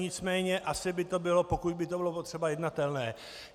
Nicméně asi by to bylo, pokud by to bylo potřeba, jednatelné.